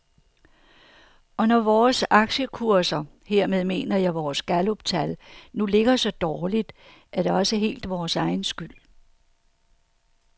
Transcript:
Og når vores aktiekurser, hermed mener jeg vores galluptal, nu ligger så dårligt, er det også helt vores egen skyld.